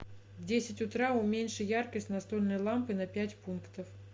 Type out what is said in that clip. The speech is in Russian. в десять утра уменьши яркость настольной лампы на пять пунктов